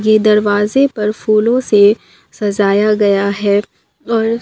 ये दरवाजे पर फूलों से सजाया गया है और--